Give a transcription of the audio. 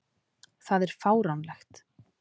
Það er fáránlegt.